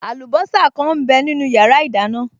Àlùbọ́sà kan m bẹ nínu yàrá ìdáná